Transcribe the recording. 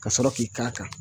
Kasɔrɔ k'i k'a kan